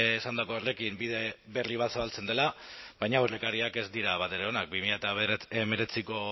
esandako horrekin bide berri bat zabaltzen dela baina aurrekariak ez dira batere onak bi mila hemeretziko